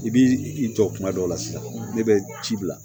I bi i jɔ kuma dɔw la sisan ne bɛ ci bila